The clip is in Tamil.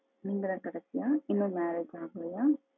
நீங்க தான் கடைசியா? இன்னும் marriage ஆகலையா?